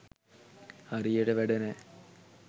හරියට වැඩ නෑ.